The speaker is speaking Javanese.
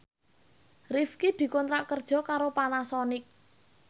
Rifqi dikontrak kerja karo Panasonic